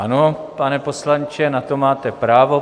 Ano, pane poslanče, na to máte právo.